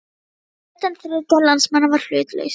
Breta, en þriðjungur landsmanna var hlutlaus.